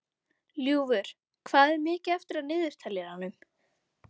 Ljúfur, hvað er mikið eftir af niðurteljaranum?